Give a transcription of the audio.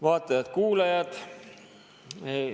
Vaatajad-kuulajad!